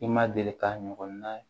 I ma deli ka ɲɔgɔn na ye